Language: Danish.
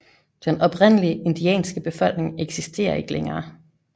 Den oprindelige indianske befolkning eksisterer ikke længere